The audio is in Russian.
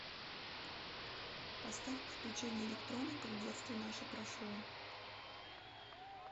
поставь приключения электроников детство наше прошло